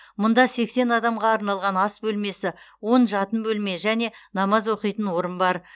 мұнда сексен адамға арналған ас бөлмесі он жатын бөлме және намаз оқитын орын бар